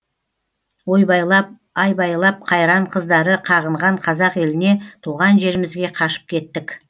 ойбайлап айбайлап қайран қыздары қағынған қазақ еліне туған жерімізге қашып кеттік